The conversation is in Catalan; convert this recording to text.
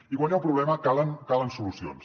i quan hi ha un problema calen calen solucions